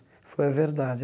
Ela falou, é verdade.